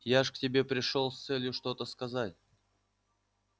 я же к тебе пришёл с целью что-то сказать